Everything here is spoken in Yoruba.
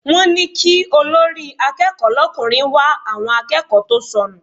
Wọ́n ní kí olórí akẹ́kọ̀ọ́ l'ọkùnrin wá àwọn akẹ́kọ̀ọ́ tó sọnù.